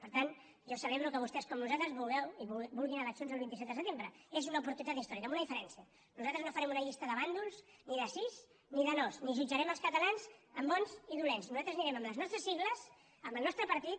per tant jo celebro que vostès com nosaltres vulguin eleccions el vint set de setembre és una oportunitat històrica amb una diferència nosaltres no farem una llista de bàndols ni de sís ni de nos ni jutjarem els catalans en bons i dolents nosaltres anirem amb les nostres sigles amb el nostre partit